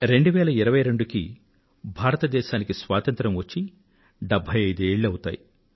2022 కల్లా భారతదేశానికి స్వాతంత్ర్యం వచ్చి 75 ఏళ్లవుతాయి